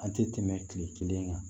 An tɛ tɛmɛ kile kelen kan